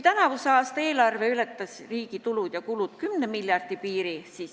Tänavuse aasta eelarve – riigi tulud ja kulud – ületas veidi 10 miljardi piiri.